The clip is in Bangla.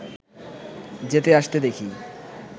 যেতে আসতে দেখি